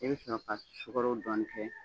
E bɛ sɔrɔ ka sukɔrɔ dɔɔnin kɛ